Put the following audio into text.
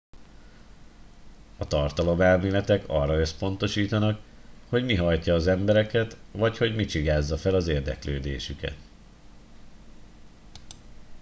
a tartalomelméletek arra összpontosítanak hogy mi hajtja az embereket vagy hogy mi csigázza fel az érdeklődésüket